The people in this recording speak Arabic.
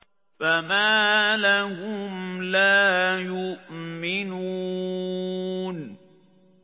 فَمَا لَهُمْ لَا يُؤْمِنُونَ